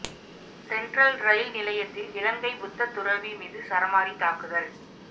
Central rail நிலையத்தில் இலங்கை புத்த துறவி மீது சரமாரி தாக்குதல்